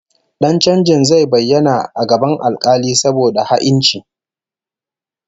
Dan chanjin zai bayyana a gaban alkali saboda ha'inci